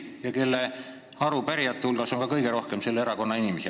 Ja ka arupärijate hulgas on kõige rohkem selle erakonna inimesi.